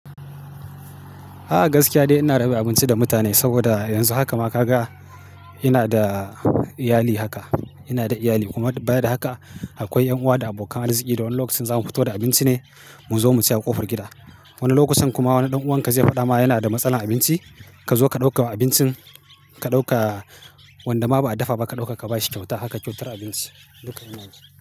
A'a gaskiya dai ina raba abinci da mutane saboda yanzu haka ma ka ga ina da iyali haka. Ina da iyali kuma baya da haka akwai 'yan uwa da abokan arziki da wani lokacin zamu fito da abinci ne mu zo mu ci a ƙofar gida. Wani lokacin kuma wani ɗan uwan ka zai faɗa ma yana da matsalan abinci ka zo ka ɗauka abincin ka ɗauka wanda ma ba a dafa ba ka ɗauka ka bashi kyauta. Haka kyautar abinci duka ina yi.